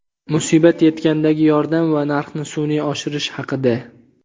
musibat yetgandagi yordam va narxni sun’iy oshirish haqida.